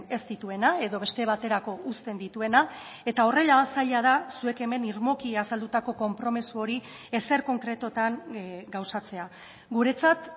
ez dituena edo beste baterako uzten dituena eta horrela zaila da zuek hemen irmoki azaldutako konpromiso hori ezer konkretutan gauzatzea guretzat